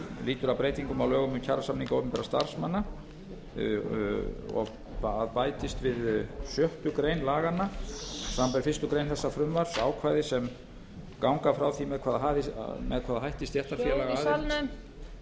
lýtur að breytingum á lögum um kjarasamninga opinberra starfsmanna það bætist við sjötta laganna samanber fyrstu grein þessa frumvarps ákvæði sem ganga frá því með hvaða hætti stéttarfélagsaðild hljóð í